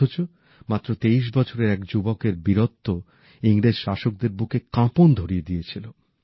অথচ মাত্র তেইশ বছরের এক যুবকের বীরত্ব ইংরেজ শাসকদের বুকে কাঁপন ধরিয়ে দিয়েছিল